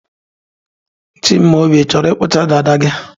Chimaobi, ị chọrọ ịkpọchi dada gị?